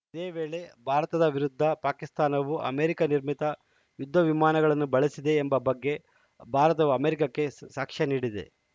ಇದೇ ವೇಳೆ ಭಾರತದ ವಿರುದ್ಧ ಪಾಕಿಸ್ತಾನವು ಅಮೆರಿಕ ನಿರ್ಮಿತ ಯುದ್ಧವಿಮಾನಗಳನ್ನು ಬಳಸಿದೆ ಎಂಬ ಬಗ್ಗೆ ಭಾರತವು ಅಮೆರಿಕಕ್ಕೆ ಸ್ ಸಾಕ್ಷ್ಯ ನೀಡಿದೆ